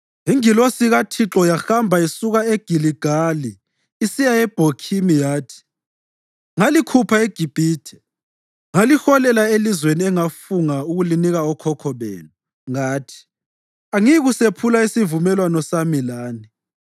Ingilosi kaThixo yahamba isuka eGiligali isiya eBhokhimi yathi, “Ngalikhupha eGibhithe ngaliholela elizweni engafunga ukulinika okhokho benu. Ngathi, ‘Angiyikusephula isivumelwano sami lani,